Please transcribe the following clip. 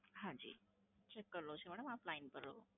હાંજી, check કરી લઉં છું મેડમ આપ લઈન પર રહો.